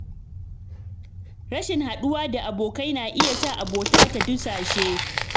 Rashin haɗuwa da abokai na iya sa abota ta dusashe.